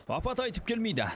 апат айтып келмейді